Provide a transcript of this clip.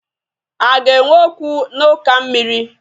A ga-enwe okwu na uka mmiri?